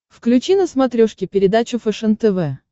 включи на смотрешке передачу фэшен тв